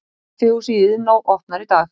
Kaffihúsið í Iðnó opnar í dag